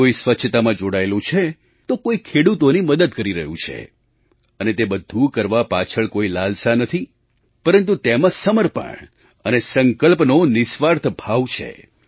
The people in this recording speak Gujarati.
કોઈ સ્વચ્છતામાં જોડાયેલું છે તો કોઈ ખેડૂતોની મદદ કરી રહ્યું છે અને તે બધું કરવા પાછળ કોઈ લાલસા નથી પરંતુ તેમાં સમર્પણ અને સંકલ્પનો નિઃસ્વાર્થ ભાવ છે